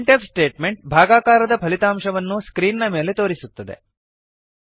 print f statement ಭಾಗಾಕಾರದ ಫಲಿತಾಂಶವನ್ನು screen ನ ಮೇಲೆ ತೋರಿಸುತ್ತದೆ